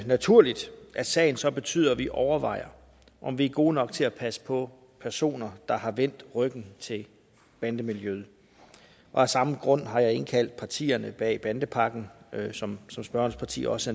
naturligt at sagen så betyder at vi overvejer om vi er gode nok til at passe på personer der har vendt ryggen til bandemiljøet og af samme grund har jeg indkaldt partierne bag bandepakken som som spørgerens parti også